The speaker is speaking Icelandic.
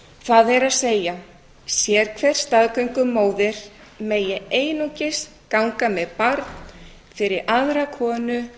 það er að sérhver staðgöngumóðir megi einungis ganga með barn fyrir aðra konu